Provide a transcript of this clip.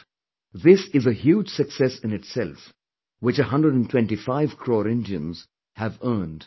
This is a huge success in itself which 125 crore Indians have earned for themselves